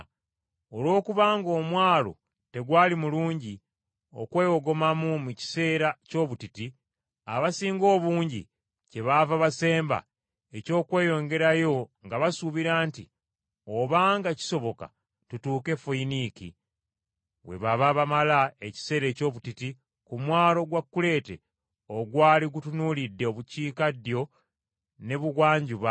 Olw’okubanga omwalo tegwali mulungi okwewogomamu mu kiseera ky’obutiti, abasinga obungi kyebaava basemba eky’okweyongerayo, nga basuubira nti obanga kisoboka tutuuke e Foyiniiki, we baba bamala ekiseera eky’obutiti ku mwalo gwa Kuleete ogwali gutunuulidde obukiikaddyo n’ebugwanjuba, n’obukiikakkono n’ebugwanjuba.